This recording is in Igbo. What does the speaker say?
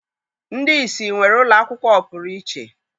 Ndị ìsì nwere ụlọakwụkwọ ọpụrụ iche.